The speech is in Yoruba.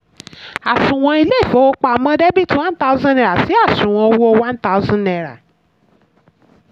àsùnwọ̀n ilé ìfowópamọ́ debit one thousand naira si àsùnwọ̀n owó one thousand naira